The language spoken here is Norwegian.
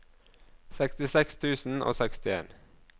sekstiseks tusen og sekstien